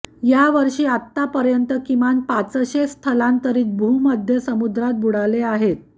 यावर्षी आत्ता पर्यंत किमान पाचशे स्थलांतरीत भूमध्य समुद्रात बुडाले आहेत